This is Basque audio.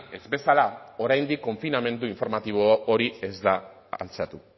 ez bezala oraindik konfinamendu informatibo hori ez da altxatu